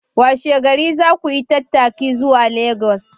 Washe gari za ku yi tattaki zuwa Legas!